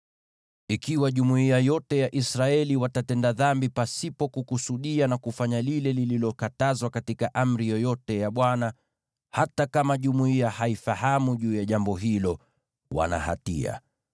“ ‘Ikiwa jumuiya yote ya Israeli watatenda dhambi pasipo kukusudia na kufanya lile lililokatazwa katika amri yoyote ya Bwana , hata kama jumuiya haifahamu juu ya jambo hilo, wana hatia.